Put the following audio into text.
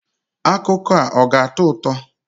Akụkọ a ọ ga-atọ ụtọ?